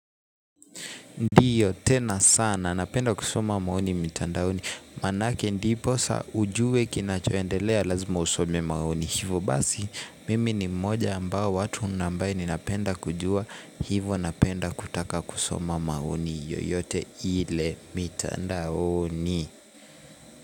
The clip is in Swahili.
Ndiyo tena sana napenda kusoma maoni mitandaoni manake ndiposa ujue kinachoendelea lazima usome maoni. Hivo basi mimi ni mmoja ambao wa watu na ambaye ninapenda kujua. Hivo napenda kutaka kusoma maoni yoyote ile mitandaoni.